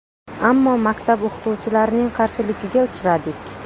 Ammo maktab o‘qituvchilarining qarshiligiga uchradik.